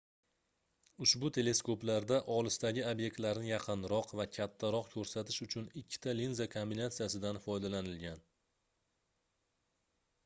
ushbu teleskoplarda olisdagi obyektlarni yaqinroq va kattaroq koʻrsatish uchun ikkita linza kombinatsiyasidan foydalanilgan